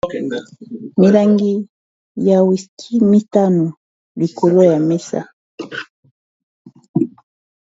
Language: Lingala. Milangi ya wiski mitano likolo ya mesa.